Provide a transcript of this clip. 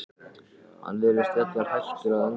Hann virðist jafnvel hættur að anda.